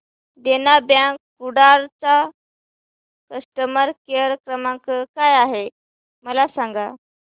देना bank Kudal चा customer care क्रमांक काय आहे मला सांगा